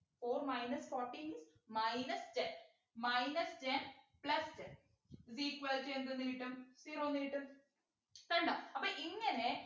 four minus forteen minus ten minus ten plus ten is equal to എന്ത് ന്നു കിട്ടും zero ന്നു കിട്ടും കണ്ടോ അപ്പൊ ഇങ്ങനെ